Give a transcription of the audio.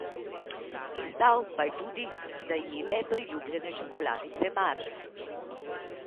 Izdal pa je tudi, da je le priljubljene čokoladice Mars.